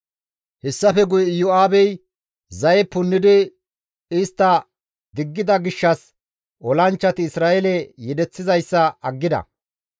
Hessafe guye Iyo7aabey zaye punnidi istta diggida gishshas olanchchati Isra7eele yedeththizayssa aggida.